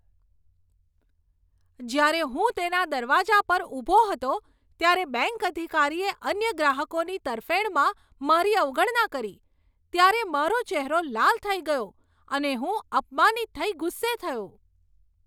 જ્યારે હું તેના દરવાજા પર ઊભો હતો ત્યારે બેંક અધિકારીએ અન્ય ગ્રાહકોની તરફેણમાં મારી અવગણના કરી ત્યારે મારો ચહેરો લાલ થઈ ગયો અને હું અપમાનિત થઇ ગુસ્સે થયો.